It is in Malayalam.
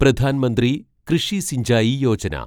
പ്രധാൻ മന്ത്രി കൃഷി സിഞ്ചായി യോജന